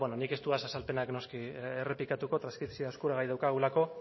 bueno nik ez dudaz azalpenak noski errepikatuko eskuragai daukagulako